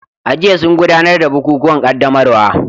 A jiya sun gudanar da bukukuwan qaddamarwa